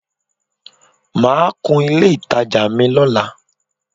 Màá kun ilé ìtajà mi lọ́la